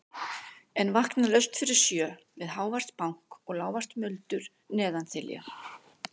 En vakna laust fyrir sjö við hávært bank og lágvært muldur neðan þilja.